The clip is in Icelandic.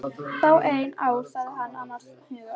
Fáein ár sagði hann annars hugar.